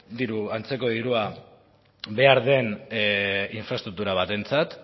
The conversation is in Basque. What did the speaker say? antzeko dirua behar den infraestruktura batentzat